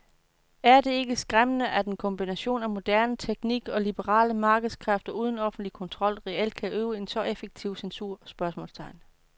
Er det ikke skræmmende at en kombination af moderne teknik og liberale markedskræfter uden offentlig kontrol reelt kan udøve en så effektiv censur? spørgsmålstegn